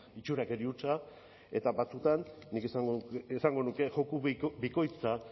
itxurakeria hutsa eta batzuetan nik esango nuke joku bikoitza